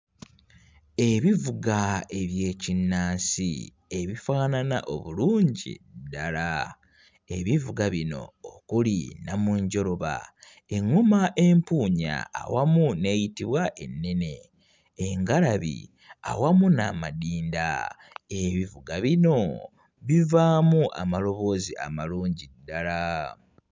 Ebivuga eby'ekinnansi ebifaanana obulungi ddala. Ebivuga bino okuli nnamunjoloba, eŋŋoma empuunya awamu n'eyitibwa ennene, engalabi awamu n'amadinda. Ebivuga bino bivaamu amaloboozi amalungi ddala.